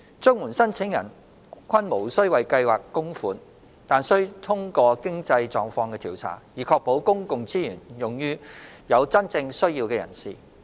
綜援申請人均無須為計劃供款，但須通過經濟狀況調查，以確保公共資源用於有真正需要的人士。